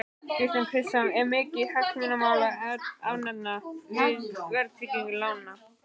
Kristján Kristjánsson: Er mikið hagsmunamál að afnema verðtryggingu lána?